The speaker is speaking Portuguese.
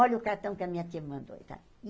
Olha o cartão que a minha tia mandou.